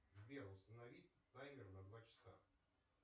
сбер установи таймер на два часа